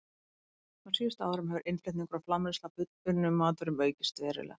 Á síðustu árum hefur innflutningur og framleiðsla á fullunnum matvörum aukist verulega.